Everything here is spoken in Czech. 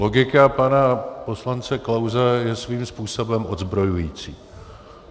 Logika pana poslance Klause je svým způsobem odzbrojující.